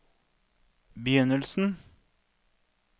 begynnelsen